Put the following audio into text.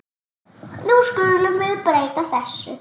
Nú skulum við breyta þessu.